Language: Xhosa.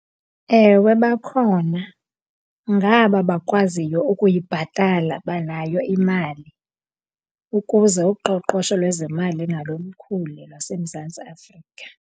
Ewe, bakhona. Ngaba bakwaziyo ukuyibhatala banayo imali ukuze uqoqosho lwezemali nalo lukhule lwaseMzantsi Afrika.